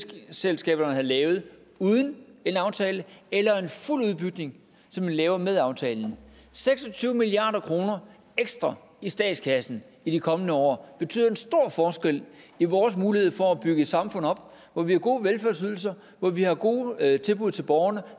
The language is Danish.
det selskaberne havde lavet uden en aftale eller en fuld udbygning som man laver med aftalen seks og tyve milliard kroner ekstra i statskassen i de kommende år betyder en stor forskel i vores mulighed for at bygge et samfund op hvor vi har gode velfærdsydelser hvor vi har gode tilbud til borgerne